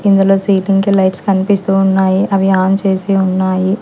ఇందులో సీలింగ్ కి లైట్స్ కనిపిస్తూ ఉన్నాయి అవి ఆన్ చేసి ఉన్నాయి.